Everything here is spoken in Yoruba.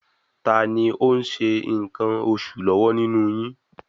Tani ó ń ṣe nǹkan oṣù lọ́wọ́ nínú yín?